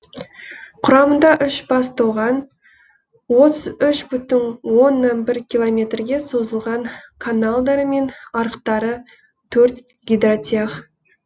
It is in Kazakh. құрамында үш бас тоған отыз үш бүтін оннан бір километрге созылған каналдары мен арықтары төрт гидротех